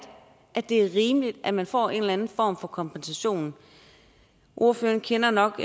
at det er rimeligt at man får en eller anden form for kompensation ordføreren kender nok